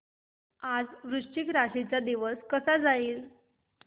आज वृश्चिक राशी चा दिवस कसा जाईल